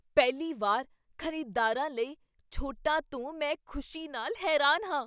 ਪਹਿਲੀ ਵਾਰ ਖ਼ਰੀਦਦਾਰਾਂ ਲਈ ਛੋਟਾਂ ਤੋਂ ਮੈਂ ਖੁਸ਼ੀ ਨਾਲ ਹੈਰਾਨ ਹਾਂ।